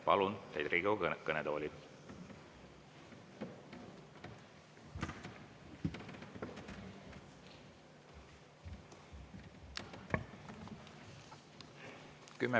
Palun teid Riigikogu kõnetooli.